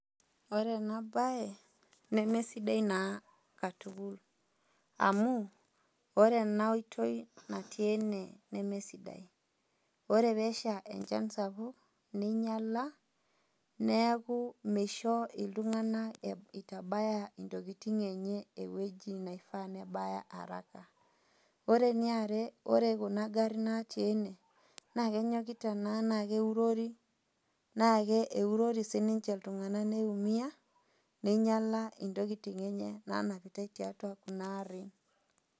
Ore enabae, nemesidai naa katukul. Amu, ore ena oitoi natii ene, nemesidai. Ore pesha enchan sapuk, ninyala, neeku misho iltung'anak itabaya intokiting enye ewueji naifaa nebaya araka. Ore eniare, ore kuna garrin natii ene, na kenyokita naa na keurori, naake eurori sinche iltung'anak naa keumia, ninyala intokiting enye nanapitai tiatua kuna arrin.